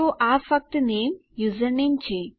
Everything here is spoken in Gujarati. તો આ ફક્ત નેમ યુઝરનેમ છે